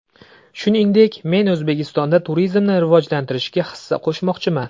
Shuningdek, men O‘zbekistonda turizmni rivojlantirishga hissa qo‘shmoqchiman.